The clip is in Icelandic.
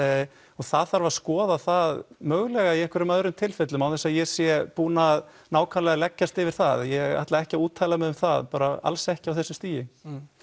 og það þarf að skoða það mögulega í einhverjum öðrum tilfellum án þess að ég sé búinn að nákvæmlega leggjast yfir það ég ætla ekki að úttala mig um það alls ekki á þessu stigi